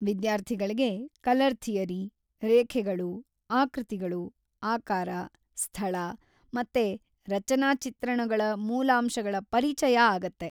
ವಿದ್ಯಾರ್ಥಿಗಳ್ಗೆ‌ colour theory, ರೇಖೆಗಳು, ಆಕೃತಿಗಳು ,ಆಕಾರ, ಸ್ಥಳ, ಮತ್ತೆ ರಚನಾಚಿತ್ರಣಗಳ ಮೂಲಾಂಶಗಳ ಪರಿಚಯ ಆಗತ್ತೆ.